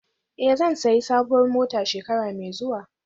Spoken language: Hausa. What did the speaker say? Eh, zan sayi sabuwar mota shekara mai zuwa